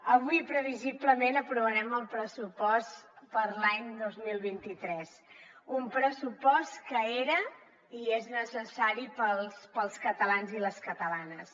avui previsiblement aprovarem el pressupost per a l’any dos mil vint tres un pressupost que era i és necessari per als catalans i les catalanes